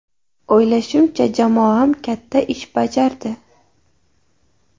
O‘ylashimcha, jamoam katta ish bajardi.